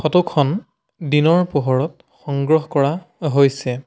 Photo খন দিনৰ পোহৰত সংগ্ৰহ কৰা হৈছে।